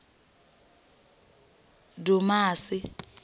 dumasi